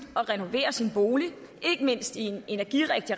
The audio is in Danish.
at renovere sin bolig ikke mindst i en energirigtig